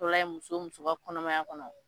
muso muso ka kɔnɔmaya kɔnɔ.